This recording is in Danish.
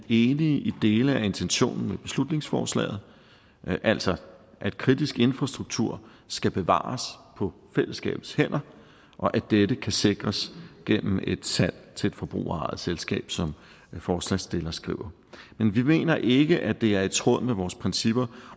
enige i dele af intentionen med beslutningsforslaget altså at kritisk infrastruktur skal bevares på fællesskabets hænder og at dette kan sikres gennem et salg til et forbrugerejet selskab som forslagsstillerne skriver men vi mener ikke at det er i tråd med vores principper